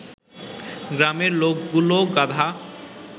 গ্রামের লোকগুলো গাধা